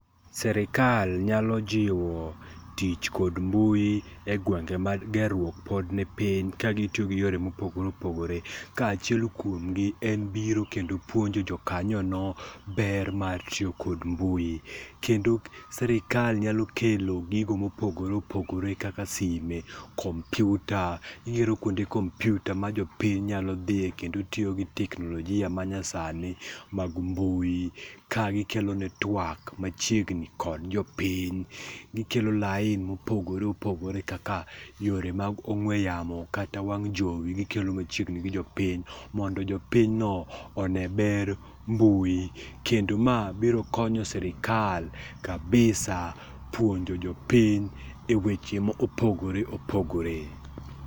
Sirkal nyalo jiwo tich kod mbui egwenge ma gerruok pod nipiny ka gitiyo gi yore mopogore opogore ka achiel kuom gi en biro kendo puonjo jo kanyono ber mar tiyo kod mbui. Kendo sirkal nyalo kelo gigo mopogore opogore kaka sime, kom piuta, iyudo kuonde kompiuta ma jopiny nyalo dhie kendo tiyo gi teknolojia manyasani mag mbui ka gikelone tuak machiegni kod jopiny. Gikelo lain mopogore opogore ka yore mag ong'ue yamo kata wang' jowi gikelo machiegni gi jopiny mondo jo pinyno one ber mbui. Kendo ma biro konyo sirkal kabisa puonjo jo piny eweche ma opogore opogore.